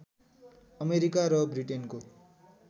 America र ब्रिटेनको